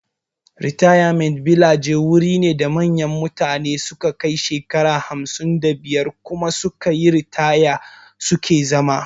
Ritayament bilaje wuri ne da manyan mutane da su ka kai shekaru hamsin da biyar kuma sukayi ritaya suke zama